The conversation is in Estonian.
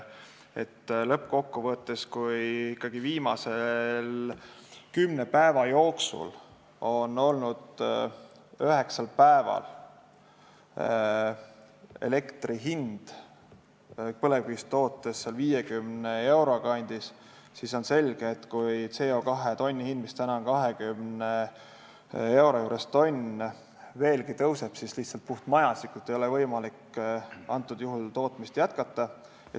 Lõppkokkuvõttes, kui ikkagi viimase kümne päeva jooksul on üheksal päeval elektri hind olnud põlevkivist tootes 50 euro kandis, siis on selge, et kui CO2 tonni hind, mis on 20 euro juures, veelgi tõuseb, ei ole lihtsalt puhtmajanduslikult võimalik sellisel juhul tootmist jätkata.